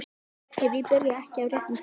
Ef ég byrja ekki á réttum tíma.